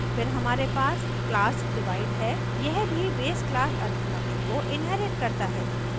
फिर हमारे पास class divide है यह भी base class arithmetic को inherits करता है